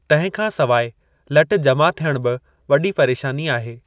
तंहिं खां सवाइ लट जमा थियण बि वॾी परेशानी आहे।